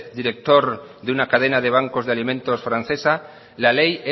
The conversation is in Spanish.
director de una cadena de bancos de alimentos francesa la ley